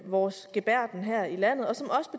vores gebærden her i landet